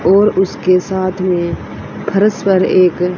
और उसके साथ में फर्श पर एक--